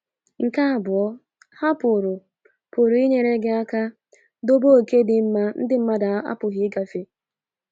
Nke abụọ, ha pụrụ pụrụ inyere gị aka dobe oke dị mma ndi mmadu apughi ịgafe.